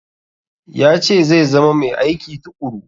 Ya ce zai zama mai aiki tuƙuru.